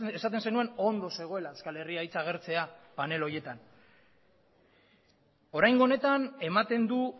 esaten zenuen ondo zegoela euskal herria hitza agertzea panel horietan oraingo honetan ematen du